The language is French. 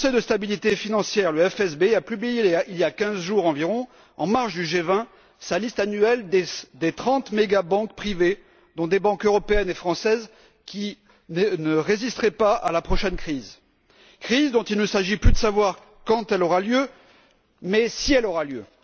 Le Conseil de stabilité financière le FSB a publié il y a quinze jours environ, en marge du G20, sa liste annuelle des trente mégabanques privées, dont des banques européennes et françaises, qui ne résisteraient pas à la prochaine crise, crise dont il ne s'agit plus de savoir quand elle aura lieu mais si elle aura lieu.